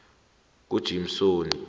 kujimsoni